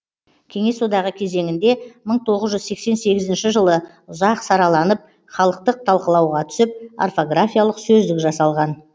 кеңес одағы кезеңінде мың тоғыз жүз сексен сегізінші жылы ұзақ сараланып халықтық талқылауға түсіп орфографиялық сөздік жасалған